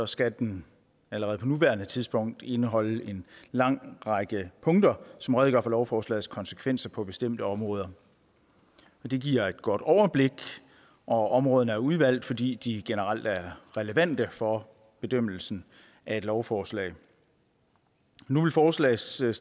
skal den allerede på nuværende tidspunkt indeholde en lang række punkter som redegør for lovforslagets konsekvenser på bestemte områder det giver et godt overblik og områderne er udvalgt fordi de generelt er relevante for bedømmelsen af et lovforslag nu vil forslagsstillerne